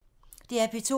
DR P2